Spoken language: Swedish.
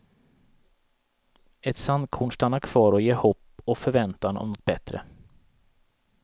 Ett sandkorn stannar kvar och ger hopp och förväntan om något bättre.